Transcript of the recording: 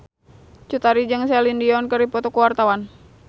Cut Tari jeung Celine Dion keur dipoto ku wartawan